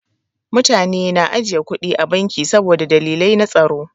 Mutane na ajiye kuɗi a banki saboda dalilai na tsaro.